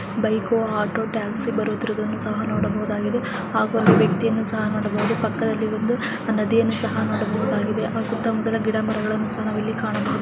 Bike auto taxi ಬರುವುದನ್ನು ಸಹ ನೋಡಬಹುದಾಗಿದೆ ಹಾಗು ಒಂದು ವ್ಯಕ್ತಿ ಅನ್ನು ಸಹ ನೋಡಬಹುದು ಪಕ್ಕದಲಿ ಒಂದು ನದಿಯನ್ನು ಸಹ ನೋಡಬಹುದಾಗಿದೆ ಆ ಸುತ್ತ ಮುತ್ತ ಗಿಡಗಳನ್ನು ಸಹ ನೋಡಬಹುದು .